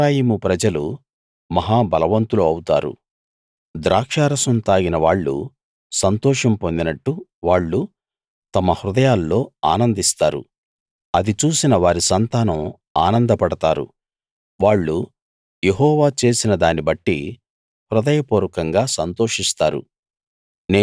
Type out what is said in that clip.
ఎఫ్రాయిము ప్రజలు మహా బలవంతులు అవుతారు ద్రాక్షారసం తాగిన వాళ్ళు సంతోషం పొందినట్టు వాళ్ళు తమ హృదయాల్లో ఆనందిస్తారు అది చూసిన వారి సంతానం ఆనందపడతారు వాళ్ళు యెహోవా చేసిన దాన్నిబట్టి హృదయపూర్వకంగా సంతోషిస్తారు